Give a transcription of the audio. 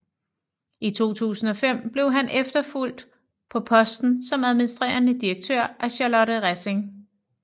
I 2005 blev han efterfulgt på posten som administrerende direktør af Charlotte Rassing